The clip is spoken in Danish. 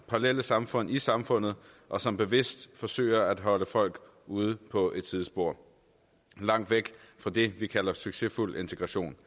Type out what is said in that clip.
parallelle samfund i samfundet og som bevidst forsøger at holde folk ude på et sidespor langt væk fra det vi kalder succesfuld integration